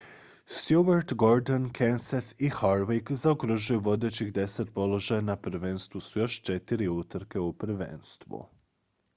stewart gordon kenseth i harvick zaokružuju vodećih deset položaja na prvenstvu s još četiri utrke u prvenstvu